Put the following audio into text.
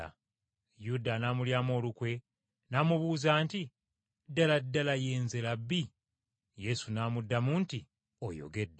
Yuda anaamulyamu olukwe n’amubuuza nti, “Ddala ddala, ye nze Labbi?” Yesu n’amuddamu nti, “Oyogedde.”